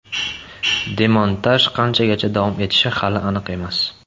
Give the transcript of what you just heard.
Demontaj qachongacha davom etishi hali aniq emas.